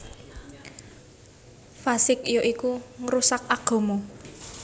Fasiq ya iku ngrusak agama